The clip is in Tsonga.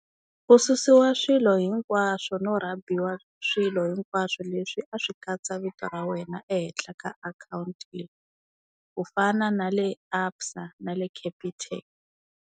Ku susiwa swilo hinkwaswo no rhabiwa swilo hinkwaswo leswi a swi katsa vito ra wena ehenhla ka akhawunti leyi, ku fana na le ABSA na le Capitec.